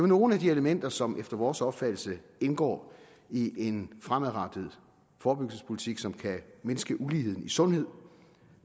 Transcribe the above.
nogle af de elementer som efter vores opfattelse indgår i en fremadrettet forebyggelsespolitik som kan mindske uligheden i sundhed